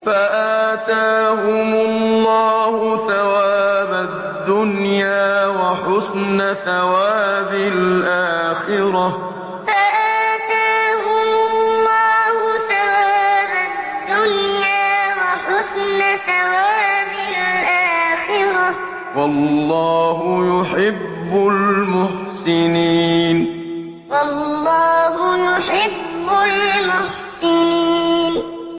فَآتَاهُمُ اللَّهُ ثَوَابَ الدُّنْيَا وَحُسْنَ ثَوَابِ الْآخِرَةِ ۗ وَاللَّهُ يُحِبُّ الْمُحْسِنِينَ فَآتَاهُمُ اللَّهُ ثَوَابَ الدُّنْيَا وَحُسْنَ ثَوَابِ الْآخِرَةِ ۗ وَاللَّهُ يُحِبُّ الْمُحْسِنِينَ